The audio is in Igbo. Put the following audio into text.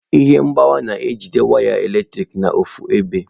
Ihe mgbawa na-ejide waya eletrik n'ọfu ebe.